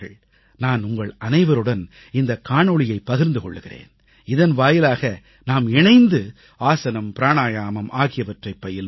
நான் உங்களனைவருடன் இந்த காணொளியை பகிர்ந்து கொள்கிறேன் இதன் வாயிலாக நாம் இணைந்து ஆசனம் பிராணாயாமம் ஆகியவற்றைப் பயில்வோம்